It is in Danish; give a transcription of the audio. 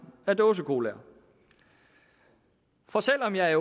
af dåsecola for selv om jeg